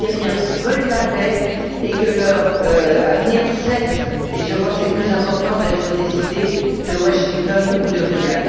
Les Syriens veulent la paix et veulent que leur avenir cesse et je crois que c'est le plus important d'être décidé à Washington ou à Riyad.